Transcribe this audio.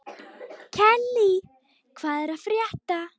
Kellý, hvað er að frétta?